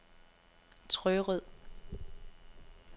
Trørød